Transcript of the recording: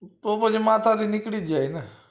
તો પછી માતાજી નીકળી જ જાય ને